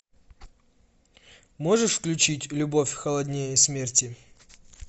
можешь включить любовь холоднее смерти